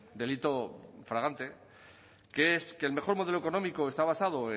delito flagrante que es que el mejor modelo económico está basado